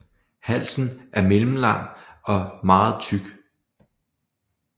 Halsen er middellang og meget tyk